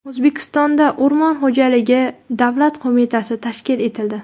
O‘zbekistonda O‘rmon xo‘jaligi davlat qo‘mitasi tashkil etildi.